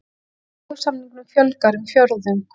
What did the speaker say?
Leigusamningum fjölgar um fjórðung